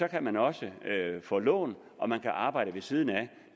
kan man også få lån og man kan arbejde ved siden af